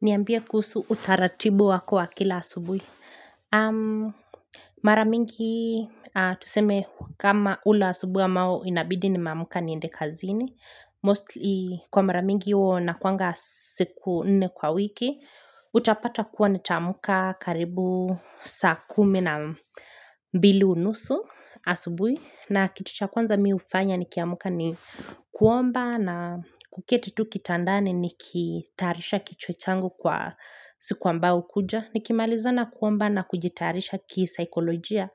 Niambie kuhusu utaratibu wako wa kila asubuhi. Mara mingi tuseme kama hula asubuhi ambao inabidi nimeamka niende kazini. Mostly kwa mara mingi hio inakuanga siku nne kwa wiki. Utapata kuwa nitaamka karibu saa kumi na mbili unusu asubuhi. Na kitu cha kwanza mi hufanya nikiamka ni kuomba na kuketi tu kitandani nikitayarisha kichwa changu kwa siku ambayo hukuja. Nikimalizana kuomba na kujitarisha kisaikolojia.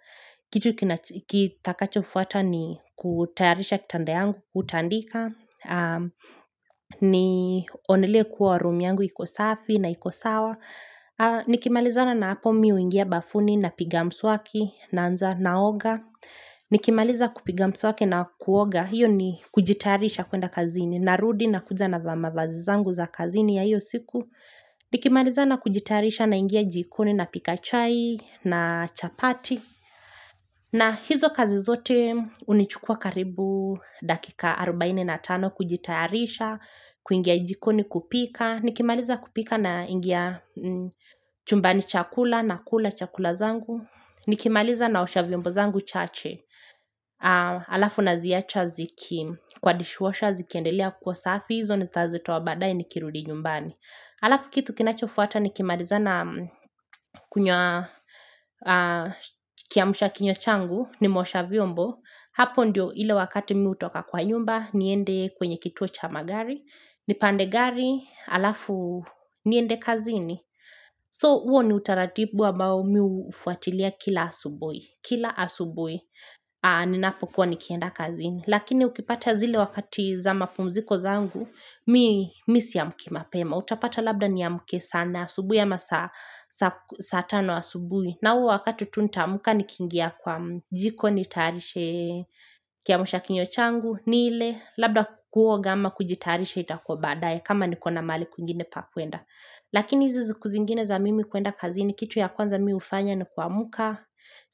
Kitu kitakachofuata ni kutayarisha kitanda yangu, hutandika, nionelee kuwa room yangu iko safi na iko sawa. Nikimalizana na hapo mimi huingia bafuni napiga mswaki naanza naoga. Nikimaliza kupiga mswaki na kuoga hiyo ni kujitayarisha kuenda kazini Narudi nakuja navaa mavazi zangu za kazini ya hiyo siku Nikimalizana kujitarisha naingia jikoni napika chai na chapati na hizo kazi zote hunichukua karibu dakika 45 kujitayarisha, kuingia jikoni kupika Nikimaliza kupika naingia chumbani cha kula nakula chakula zangu Nikimaliza naosha vyombo zangu chache Alafu naziacha ziki kwa dishwasher zikiendelea kuwa safi hizo ni kazi twa baadae nikirudi nyumbani Alafu kitu kinachofuata nikimalizana kiamsha kinywa changu nimeosha vyombo Hapo ndio ile wakati mimi hutoka kwa nyumba niende kwenye kituo cha magari nipande gari, alafu niende kazini So huo ni utaratibu ambao mimi hufuatilia kila asubuhi kila asubuhi ninapokuwa nikienda kazini lakini ukipata zile wakati za mapumziko zangu mimi siamki mapema utapata labda niamke sana asubuhi ama saa saa tano asubuhi na huo wakati tu nitaamka nikiingia kwa jiko nitayarishe kiamshakinywa changu nile labda ku kuoga ama kujitayarisha itakua baadaye kama niko na mahali kwingine pa kuenda lakini hizi siku zingine za mimi kuenda kazini kitu ya kwanza mimi hufanya ni kuamka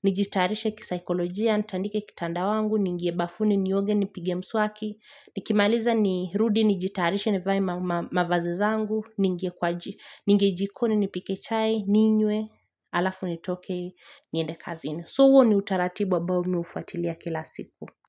nijitayarishe kisaikolojia nitandike kitanda wangu niingie bafuni nioge nipige mswaki nikimaliza nirudi nijitayarishe nivae mavazi zangu niingie jikoni nipike chai ninywe alafu nitoke niende kazini so huo ni utaratibu ambao mimi hufuatilia kila siku.